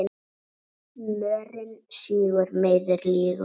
Mörinn sýgur, meiðir, lýgur.